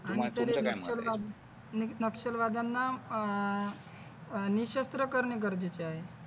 नक्षलवाद्यांना अह निशस्त्र करणे गरजेचे आहे.